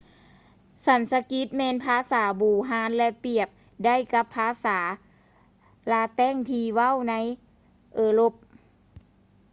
ສັນສະກິດແມ່ນພາສາບູຮານ ແລະ ປຽບໄດ້ກັບພາສາລາແຕັງທີ່ເວົ້າກັນໃນເອີຣົບ